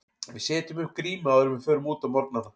Við setjum upp grímu áður en við förum út á morgnana.